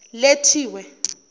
lethiwe